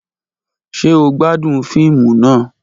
Ṣe o gbadun fiimu naa?.